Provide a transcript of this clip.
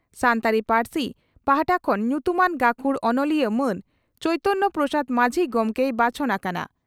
ᱥᱟᱱᱛᱟᱲᱤ ᱯᱟᱹᱨᱥᱤ ᱯᱟᱦᱴᱟ ᱠᱷᱚᱱ ᱧᱩᱛᱩᱢᱟᱱ ᱜᱟᱹᱠᱷᱩᱲ ᱚᱱᱚᱞᱤᱭᱟᱹ ᱢᱟᱱ ᱪᱚᱭᱛᱚᱱᱭᱚ ᱯᱨᱚᱥᱟᱫᱽ ᱢᱟᱹᱡᱷᱤ ᱜᱚᱢᱠᱮᱭ ᱵᱟᱪᱷᱚᱱ ᱟᱠᱟᱱᱟ ᱾